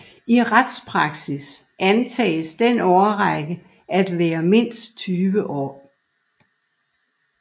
I retspraksis antages den årrække at være mindst 20 år